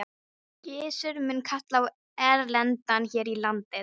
Gizur mun kalla á erlendan her í landið.